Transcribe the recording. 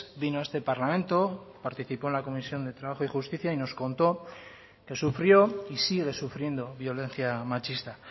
vino a este parlamento participó en la comisión de trabajo y justicia y nos contó que sufrió y sigue sufriendo violencia machista